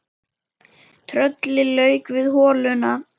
Trölli lauk við holuna